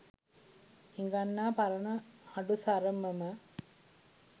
හිඟන්නා පරණ හඩු සරම ම